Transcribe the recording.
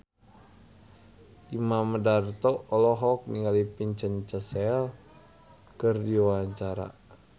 Imam Darto olohok ningali Vincent Cassel keur diwawancara